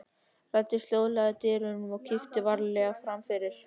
Ég læddist hljóðlega að dyrunum og kíkti varlega fram.